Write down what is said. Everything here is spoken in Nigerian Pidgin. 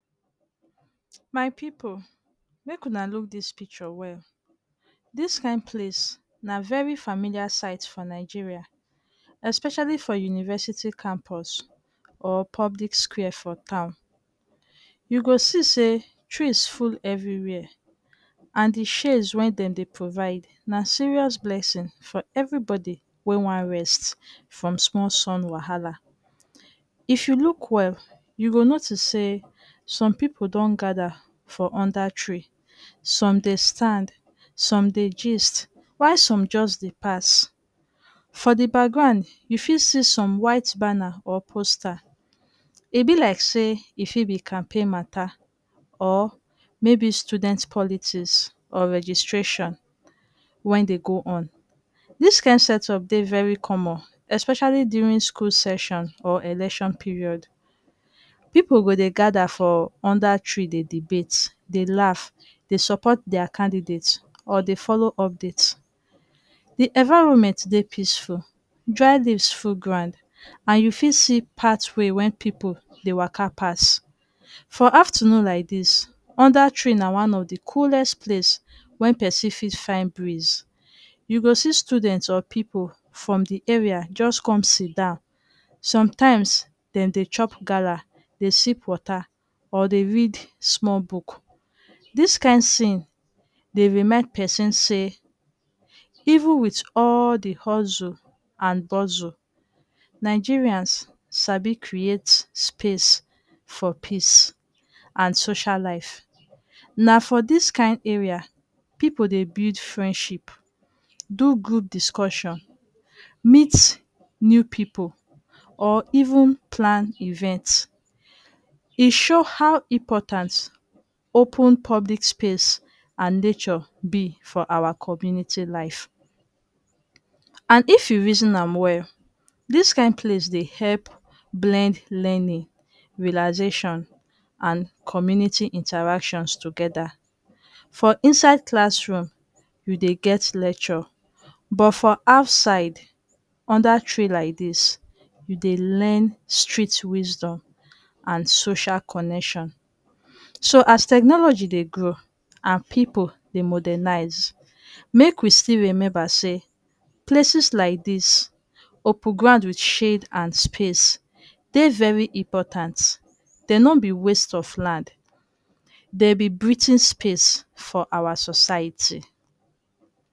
My pipu, mek una look dis picture well. Dis kain place na very familiar site for Nigeria, especially for university campus or public square for town. You go see say trees full everywhere and di shades wen de dey provide na serious blessing for everybodi wey wan rest from sumol sun wahala. If you look well, you go notice say some pippu don gada for under tree. Some de stand, some dey gist, while some just dey pass. For di background, you fit see some white banna or posta. E be like say e fit be campaign mata, or maybe student politics or registration wen dey go on. Dis kain setup dey very common, especially during school seshion or eleshion period. Pippu go dey gada for unda tree dey debate, dey laugh, dey support dia candidate or dey follow update. Di environment dey peaceful. Dry leaves full ground. And you fit see pathway wen pippu dey waka pass. For afternoon laidis, under tree na one of di coolest place wey person fit fain breeze. You go see student or pipu from di area just come siddon. Sometimes dem dey chop gala, dey sip water, or de read sumol book. Dis kain scene dey remind pesin say even wit all di hustle and buzzle, Nigerians sabi create space for peace and social life. Na for dis kain area people dey buid friendship, do group discussion, meet new pipu or even plan event. E show how important open public space and nature be for awa community life. And if you reason am well, dis kain place dey hep blend learning, relaxation and community interactions togeda. For inside classroom, you dey get lecture. But for outside, under tree laidis, you dey learn street wisdom and social connection. So as technology dey grow and people de modernise, mek we still remember say places lai dis, open ground wid shade and space, dey very important. De no be waste of land. De be breathing space for awa society.